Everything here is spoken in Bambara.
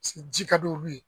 Ji ka d'olu ye.